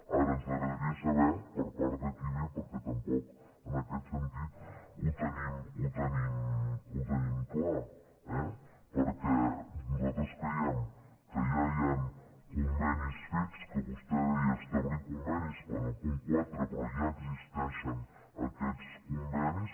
ara ens agradaria saber per part de qui ve perquè tampoc en aquest sentit ho tenim clar eh perquè nosaltres creiem que ja hi han convenis fets que vostè deia establir convenis en el punt quatre però ja existeixen aquests convenis